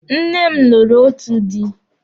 Nne m lụrụ otu dị.